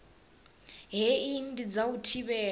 hei ndi dza u thivhela